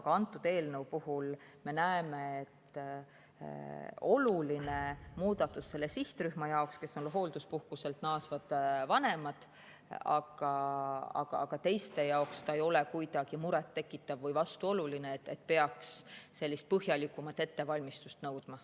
Aga antud eelnõu puhul me näeme, et see on oluline muudatus selle sihtrühma jaoks, kes on hoolduspuhkuselt naasvad vanemad, aga teiste jaoks ei ole see kuidagi muret tekitav või vastuoluline, et peaks sellist põhjalikumat ettevalmistust nõudma.